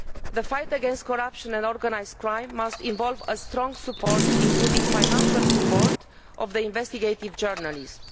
The fight against corruption and organised crime must involve strong support including financial support for investigative journalism.